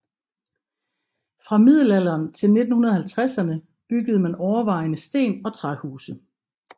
Fra middelalderen til 1950erne byggede man overvejende sten og træhuse